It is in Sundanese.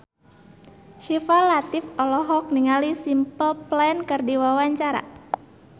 Syifa Latief olohok ningali Simple Plan keur diwawancara